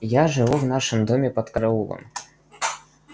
я живу в нашем доме под караулом